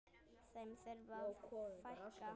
Þeim þurfi að fækka.